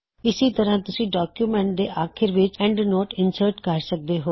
ਇਸੀ ਤਰ੍ਹਾ ਤੁਸੀਂ ਡੌਕਯੁਮੈੱਨਟ ਦੇ ਆਖੀਰ ਵਿੱਚ ਐੱਨਡਨੋਟ ਇਨਸਰਟ ਕਰ ਸਕਦੇ ਹੋਂ